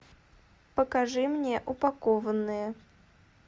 покажи мне упакованные